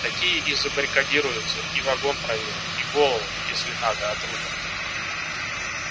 такие и забаррикадируются и вагон проверят и голову если надо отрубят